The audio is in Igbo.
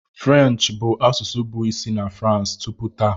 French bụ asụsụ bụ isi na France tupu taa.